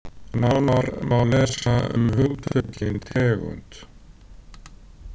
Nánar má lesa um hugtökin tegund.